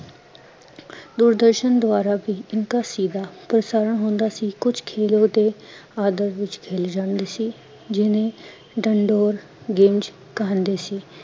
ਦੂਰਦਰਸ਼ਨ ਦੁਆਰਾ ਬੀ ਇਨਕਾ ਸੀਦਾ ਪ੍ਰਸਾਰਣ ਹੁੰਦਾ ਸੀ ਅਥਾਹ ਕੁਛ ਖੇਲੋ ਦੇ ਆਧਵ ਵੀਚ ਖੇਲੇ ਜਾਂਦੇ ਸੀ, ਜਿਹਨੇ ਡਣਡੋਰ ਗੇਜ ਕਹਿੰਦੇ ਸੀ